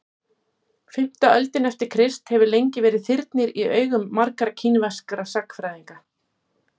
fimmta öldin eftir krist hefur lengi verið þyrnir í augum margra kínverskra sagnfræðinga